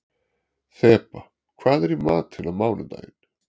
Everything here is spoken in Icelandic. Þeba, hvað er í matinn á mánudaginn?